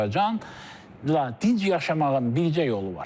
Azərbaycan dinc yaşamağın bircə yolu var.